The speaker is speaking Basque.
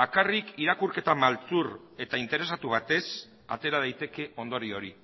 bakarrik irakurketa maltzur eta interesatu batez atera daiteke ondorio hori